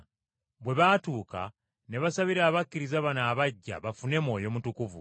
Bwe baatuuka ne basabira abakkiriza bano abaggya bafune Mwoyo Mutukuvu,